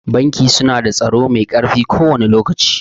Banki su na da tsaro mai ƙarfi kowane lokaci